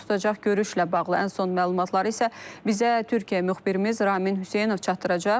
Baş tutacaq görüşlə bağlı ən son məlumatları isə bizə Türkiyə müxbirimiz Ramin Hüseynov çatdıracaq.